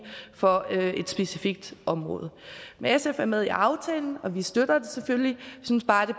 for et specifikt område sf er med i aftalen og vi støtter den selvfølgelig vi synes bare at det